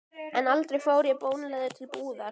En aldrei fór ég bónleiður til búðar.